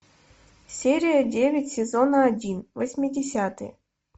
серия девять сезона один восьмидесятые